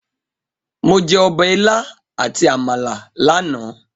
Mo jẹ ọbẹ̀ ilá àti Àmàlà lánàá.